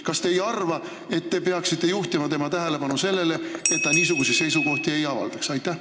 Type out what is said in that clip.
Kas te ei arva, et te peaksite juhtima tema tähelepanu sellele, et ta niisuguseid seisukohti ei avaldaks?